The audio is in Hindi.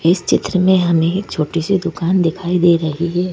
इस चित्र में हमें एक छोटी सी दुकान दिखाई दे रही है।